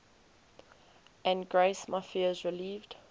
and grace my fears relieved